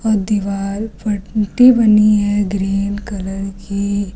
और दीवार पट्टी बनी है ग्रीन कलर की।